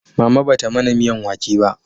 Mama ba ta mana miyan wake ba